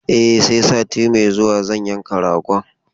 E, sai sati mai zuwa zan yanka ragon.